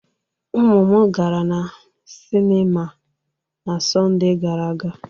Ụmụ m gara na sinima na Sọnde gara aga.